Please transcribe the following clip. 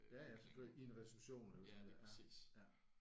Ja ja selvfølgelig i en reception eller sådan noget ja ja